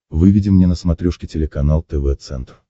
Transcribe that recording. выведи мне на смотрешке телеканал тв центр